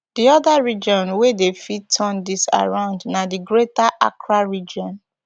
di oda region wia dey fit turn tins around na di greater accra region